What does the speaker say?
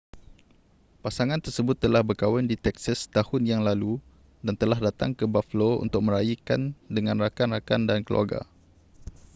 pasangan tersebut telah berkahwin di texas setahun yang lalu dan telah datang ke buffalo untuk meraikan dengan rakan-rakan dan keluarga